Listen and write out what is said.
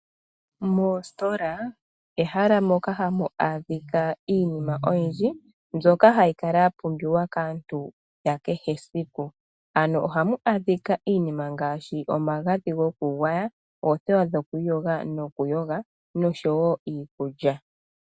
Moositola, ehala moka hamu adhika iinima oyindji mbyoka hayi kala ya pumbiwa kaantu yakehe esiku, ano ohamu adhika iinima ngaashi omagadhi gokugwaya, oothewa dhoku iyoga nokuyoga, nosho woo iikulya.